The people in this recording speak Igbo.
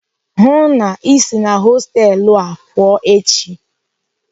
Hụụ na Ị si na hostelu a pụọ echi!